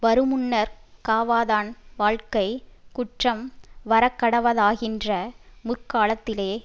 வருமுன்னர் காவாதான் வாழ்க்கை குற்றம் வரக்கடவதாகின்ற முற்காலத்திலே